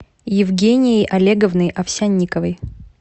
евгенией олеговной овсянниковой